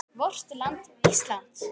VORT LAND ÍSLAND